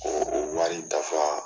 o o Wari dafa.